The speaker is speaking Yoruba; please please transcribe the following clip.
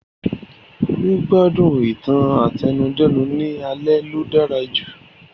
Gbígbádùn ìtàn àtẹnudẹ́nu ni aṣalẹ lo dára jù